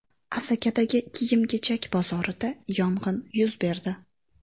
Asakadagi kiyim-kechak bozorida yong‘in yuz berdi.